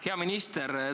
Hea minister!